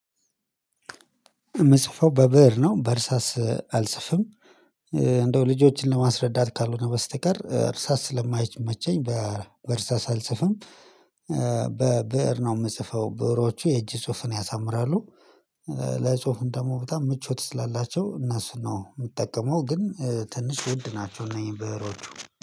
የምጽፈው በብእር ነው በእርሳስ አልጽፍም። እንደው ልጆችን ለማስረዳት ካልሆነ በስተቀር እርሳስ ስለማይመቸኝ በእርሳስ አልጽፍም። በብእር ነው የምጽፈው ብእሮቹ የእጅ ጽሁፍን ያሳምራሉ። በጽሁፍም ደግሞ በጣም ምቾት ስላላቸው እነሱን ነው የምጠቀመው ግን ትንሽ ውድ ናቸው እነዚህ ብእሮቹ